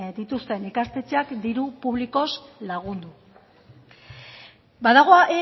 dituzten ikastetxeak diru publikoz lagundu badago